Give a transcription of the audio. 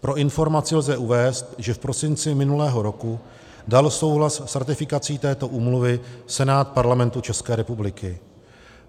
Pro informaci lze uvést, že v prosinci minulého roku dal souhlas s ratifikací této úmluvy Senát Parlamentu České republiky.